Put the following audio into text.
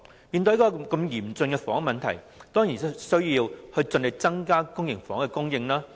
面對這麼嚴峻的房屋問題，政府當然有需要盡力增加公營房屋供應。